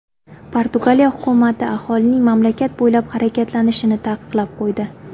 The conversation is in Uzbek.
Portugaliya hukumati aholining mamlakat bo‘ylab harakatlanishini taqiqlab qo‘ydi.